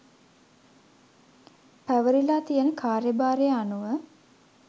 පැවරිලා තියෙන කාර්යභාරය අනුව